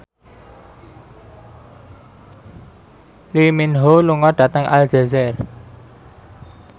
Lee Min Ho lunga dhateng Aljazair